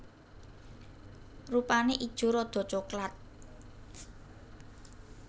Rupane ijo rada coklat